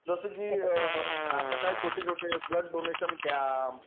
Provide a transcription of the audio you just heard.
जसं कि आता काय छोटे छोटे ब्लड डोनेशन कॅम्प